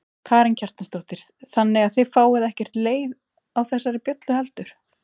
Karen Kjartansdóttir: Þannig að þið fáið ekkert leið á þessari bjöllu heldur?